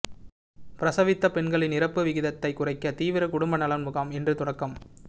பிரசவித்த பெண்களின் இறப்பு விகிதத்தைக் குறைக்க தீவிர குடும்ப நலம் முகாம் இன்று தொடக்கம்